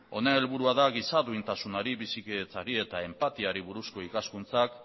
honen helburua da giza duintasunari bizikidetzari eta enpatiari buruzko ikaskuntzak